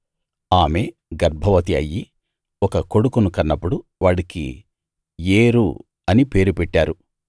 ఆమె గర్భవతి అయ్యి ఒక కొడుకును కన్నప్పుడు వాడికి ఏరు అని పేరు పెట్టారు